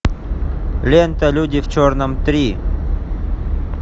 лента люди в черном три